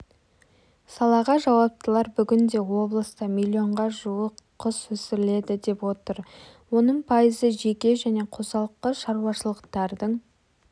салаға жауаптылар бүгінде облыста миллионға жуыс құс өсіріледі деп отыр оның пайызы жеке және қосалқы шаруашылықтардың